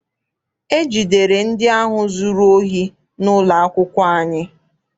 E jidere ndị ahụ zụrụ ohi n'ụlọ akwụkwọ anyị.